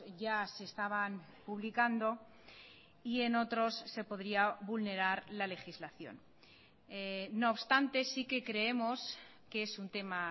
ya se estaban publicando y en otros se podría vulnerar la legislación no obstante sí que creemos que es un tema